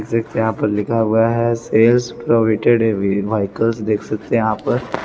देख सकते हैं यहां पर लिखा हुआ है सेल्स प्रोवाइड व्हीकल देख सकते हैं यहां पर--